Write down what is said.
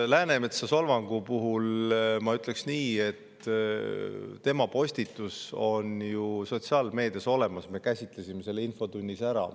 Läänemetsa solvangu puhul ma ütlen nii, et tema postitus on ju sotsiaalmeedias olemas, me käsitlesime selle infotunnis ära.